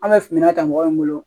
An bɛ finna ta mɔgɔ min bolo